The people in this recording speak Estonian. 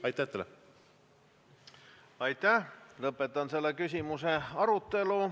Aitäh, lõpetan selle küsimuse arutelu.